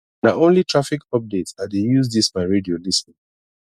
na only traffic updates i dey use dis my radio lis ten